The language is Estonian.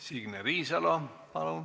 Signe Riisalo, palun!